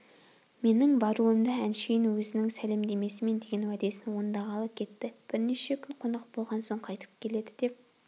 менің баруымды әншейін өзінің сәлемдесемін деген уәдесін орындағалы кетті бірнеше күн қонақ болған соң қайтып келеді деп